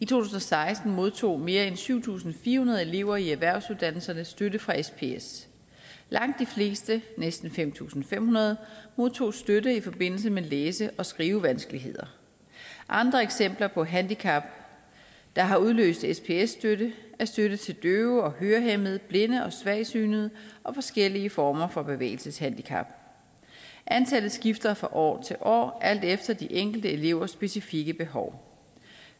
tusind og seksten modtog mere end syv tusind fire hundrede elever i erhvervsuddannelserne støtte fra sps langt de fleste næsten fem tusind fem hundrede modtog støtte i forbindelse med læse og skrivevanskeligheder andre eksempler på handicap der har udløst sps støtte er støtte til døve og hørehæmmede blinde og svagsynede og forskellige former for bevægelseshandicap antallet skifter fra år til år alt efter de enkelte elevers specifikke behov